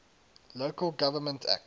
local government act